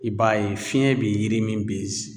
I b'a ye fiyɛn bɛ yiri min